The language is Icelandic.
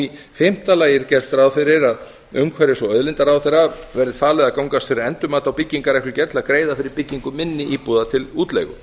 í fimmta lagi er gert ráð fyrir að umhverfis og auðlindaráðherra verði falið að gangast fyrir endurmati á byggingarreglugerð til að greiða fyrir byggingu minni íbúða til útleigu